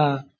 ആഹ്